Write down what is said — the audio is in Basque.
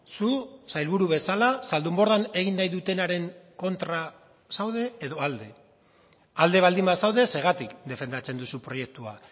zu sailburu bezala zaldunbordan egin nahi dutenaren kontra zaude edo alde alde baldin bazaude zergatik defendatzen duzu proiektua